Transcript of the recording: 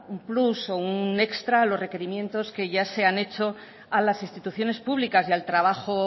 un plus o un extra a los requerimientos que ya se han hecho a las instituciones públicas y al trabajo